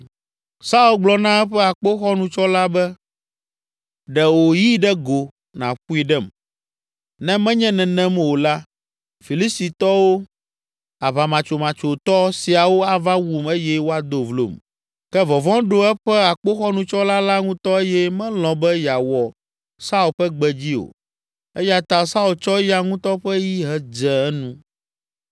Saul gblɔ na eƒe akpoxɔnutsɔla be, “Ɖe wò yi ɖe go nàƒoe ɖem, ne menye nenem o la, Filistitɔ, aʋamatsomatsoetɔ siawo ava wum eye woado vlom.” Ke vɔvɔ̃ ɖo eƒe akpoxɔnutsɔla la ŋutɔ eye melɔ̃ be yeawɔ Saul ƒe gbe dzi o. Eya ta Saul tsɔ eya ŋutɔ ƒe yi hedze enu.